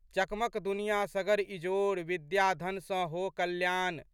चकमक दुनियाँ सगर इजोर, विद्याधन सँ हो कल्याण।